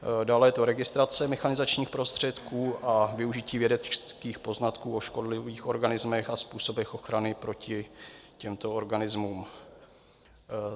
Dále je to registrace mechanizačních prostředků a využití vědeckých poznatků o škodlivých organismech a způsobech ochrany proti těmto organismům.